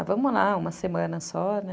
Ah, vamos lá, uma semana só, né?